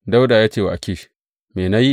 Dawuda ya ce wa Akish, Me na yi?